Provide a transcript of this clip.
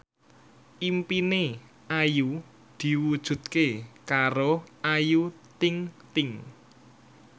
impine Ayu diwujudke karo Ayu Ting ting